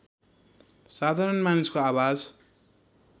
साधारण मानिसको आवाज